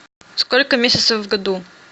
сколько месяцев в году